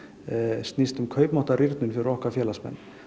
snýst um kaupmáttarrýrnun fyrir okkar félagsmenn